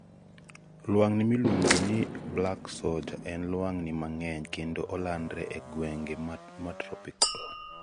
lwang'ni miluongoni black soldier en lwang'ni mang'eny kendo olandre e gwenge matropical